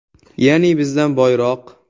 Ya’ni bizdan boyroq.